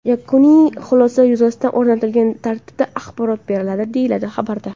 Yakuniy xulosa yuzasidan o‘rnatilgan tartibda axborot beriladi”, deyiladi xabarda.